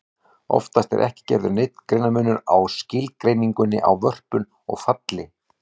Oftast er ekki gerður neinn greinarmunur á skilgreiningunni á vörpun og falli.